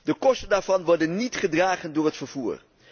De kosten daarvan worden niet gedragen door het vervoer.